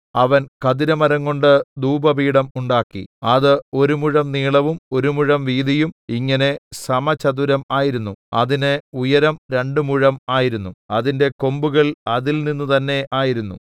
അവൻ ഖദിരമരംകൊണ്ട് ധൂപപീഠം ഉണ്ടാക്കി അത് ഒരു മുഴം നീളവും ഒരു മുഴം വീതിയും ഇങ്ങനെ സമചതുരം ആയിരുന്നു അതിന് ഉയരം രണ്ട് മുഴം ആയിരുന്നു അതിന്റെ കൊമ്പുകൾ അതിൽനിന്ന് തന്നെ ആയിരുന്നു